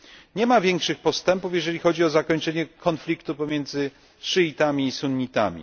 Nie ma większych postępów, jeżeli chodzi o zakończenie konfliktu pomiędzy szyitami i sunnitami.